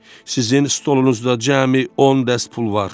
Sizin stolunuzda cəmi on dəst pul var.